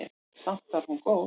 Samt var hún góð.